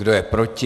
Kdo je proti?